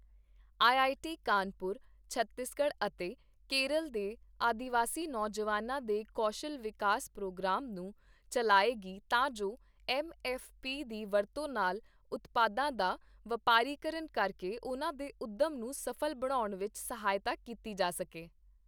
I I T, Kanpur Chhattisgarh ਅਤੇ ਕੇਰਲ ਦੇ ਆਦੀਵਾਸੀ ਨੌਜਵਾਨਾਂ ਦੇ ਕੌਸ਼ਲ ਵਿਕਾਸ ਪ੍ਰੋਗਰਾਮ ਨੂੰ ਚੱਲਾਏਗੀ ਤਾਂ ਜੋ ਐੱਮ ਐੱਫ ਪੀ ਦੀ ਵਰਤੋਂ ਨਾਲ ਉਤਪਾਦਾਂ ਦਾ ਵਪਾਰੀਕਰਨ ਕਰਕੇ ਉਨ੍ਹਾਂ ਦੇ ਉੱਦਮ ਨੂੰ ਸਫ਼ਲ ਬਣਾਉਣ ਵਿੱਚ ਸਹਾਇਤਾ ਕੀਤੀ ਜਾ ਸਕੇ।